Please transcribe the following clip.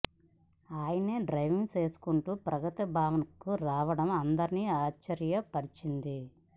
ఆయనే డ్రైవింగ్ చేసుకుంటూ ప్రగతి భవన్కు రావడం అందరినీ ఆశ్చర్య పరిచింది